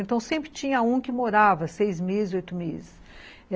Então, sempre tinha um que morava seis meses, oito meses.